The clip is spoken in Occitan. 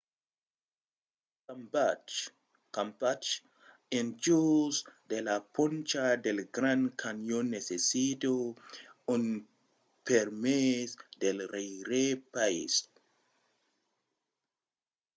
tot campatge en jos de la poncha del grand canyon necessita un permés pel rèirepaís